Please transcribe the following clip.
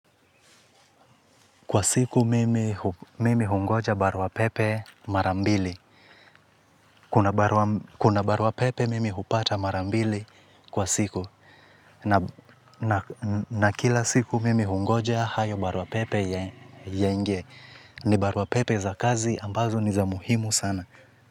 Kwa siku mimi hungoja barua pepe marambili. Kuna barua pepe mimi upata mara mbili kwa siku na kila siku mimi ungoja hayo barua pepe yaingie ni barua pepe za kazi ambazo ni za muhimu sana.